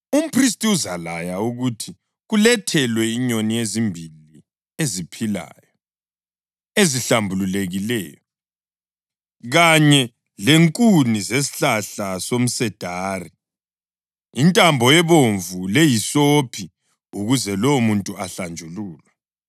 umphristi uzalaya ukuthi kulethelwe inyoni ezimbili eziphilayo, ezihlambulukileyo, kanye lenkuni zesihlahla somsedari, intambo ebomvu lehisophi ukuze lowo muntu ahlanjululwe.